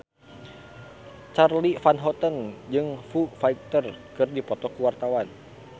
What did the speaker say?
Charly Van Houten jeung Foo Fighter keur dipoto ku wartawan